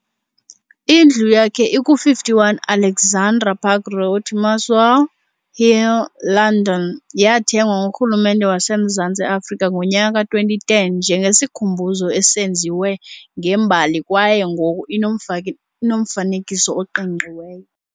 Indlu yakhe iku-51 Alexandra Park Road, Muswell Hill, London, yathengwa nguRhulumente waseMzantsi Afrika ngonyaka ka-2010 njengesikhumbuzo esenziwe ngembali kwaye ngoku inomfanekiso oqingqiweyo.